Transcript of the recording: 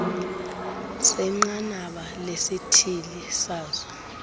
senqanaba lesithili sazo